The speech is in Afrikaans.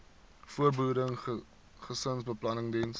voorbehoeding gesinsbeplanning diens